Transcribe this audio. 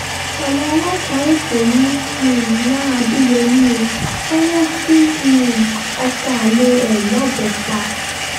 àwọn ọlọ́pàá èkó ń um wá adéyèmí ó wọ́n lọ gun um ọkọ̀ alẹ́ ẹ̀ lọ́bẹ̀ pa